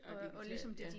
Og digital ja